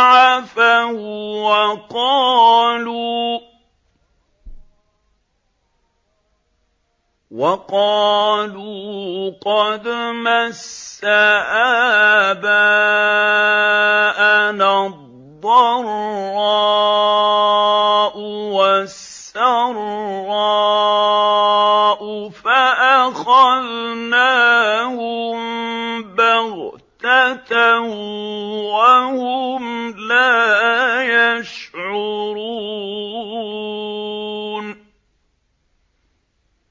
عَفَوا وَّقَالُوا قَدْ مَسَّ آبَاءَنَا الضَّرَّاءُ وَالسَّرَّاءُ فَأَخَذْنَاهُم بَغْتَةً وَهُمْ لَا يَشْعُرُونَ